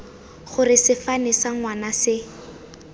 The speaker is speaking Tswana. gore sefane sa ngwana se